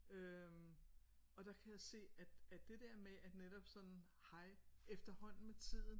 Øh og der kan jeg se at at det der med at netop sådan hej efterhånden med tiden